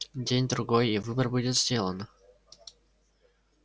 день-другой и выбор будет сделан